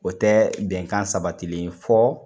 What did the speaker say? O tɛ bɛnkan sabatilen fɔ